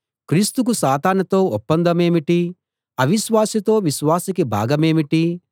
క్రీస్తుకు సాతానుతో ఒప్పందమేమిటి అవిశ్వాసితో విశ్వాసికి భాగమేమిటి